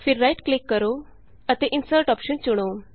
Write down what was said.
ਫਿਰ right click ਕਰੋ ਅਤੇ ਇੰਸਰਟ ਅੋਪਸ਼ਨ ਚੁਣੋ